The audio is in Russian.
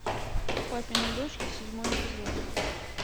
папины дочки седьмой эпизод